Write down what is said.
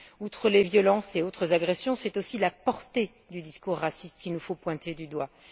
Outre les violences et autres agressions, c'est aussi la portée du discours raciste qu'il nous faut pointer du doigt.